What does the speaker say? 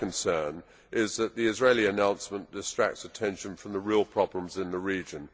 My concern is that the Israeli announcements distract attention from the real problems in the region.